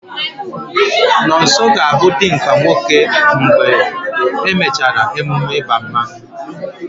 Nonso ga-abụ dimkpa nwoke mgbe e mechara emume ịba mmanụ